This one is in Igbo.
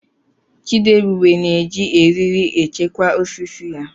Chidiebube na-eji eriri echekwa osisi ya.